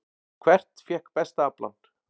Hvert fékk besta aflann?